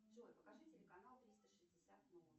джой покажи телеканал триста шестьдесят